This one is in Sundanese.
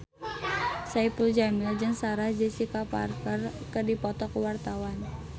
Saipul Jamil jeung Sarah Jessica Parker keur dipoto ku wartawan